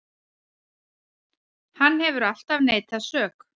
Hann hefur alltaf neitað sök